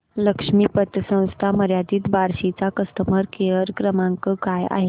लक्ष्मी पतसंस्था मर्यादित बार्शी चा कस्टमर केअर क्रमांक काय आहे